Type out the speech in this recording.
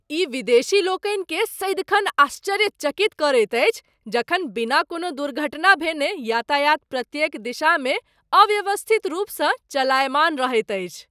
ई विदेशी लोकनिकेँ सदिखन आश्चर्यचकित करैत अछि जखन बिना कोनो दुर्घटना भेने यातायात प्रत्येक दिशामे अव्यवस्थित रूपसँ चलायमान रहैत अछि।